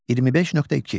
25.2.